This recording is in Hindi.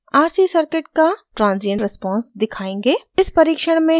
अब हम rc circuit का transient response दिखायेंगे